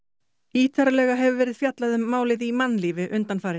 ítarlega hefur verið fjallað um málið í mannlífi undanfarið